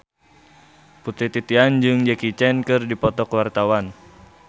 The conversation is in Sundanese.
Putri Titian jeung Jackie Chan keur dipoto ku wartawan